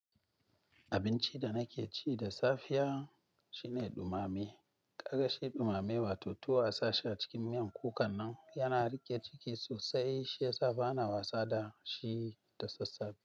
Abinci da na ke ci da safiya shine dumame. Kaga shi dumame wato tuwo a sa shi a cikin miyan kunan nan, yana riƙe ciki sosai shi ya sa ba na wasa da shi da sassafe.